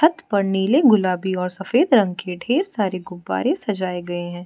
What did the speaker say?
छत पर नीले गुलाबी और सफेद रंग के ढेर सारे गुब्बारे सजाए गए है।